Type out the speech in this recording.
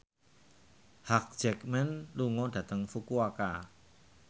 Hugh Jackman lunga dhateng Fukuoka